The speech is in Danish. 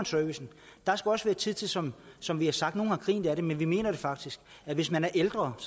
servicen der skal også være tid til som som vi har sagt og nogle har grinet af det men vi mener det faktisk at hvis man er ældre og